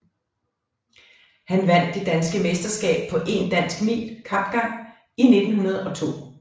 Han vandt det danske meterskab på 1 dansk mil kapgang 1902